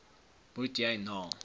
moet jy na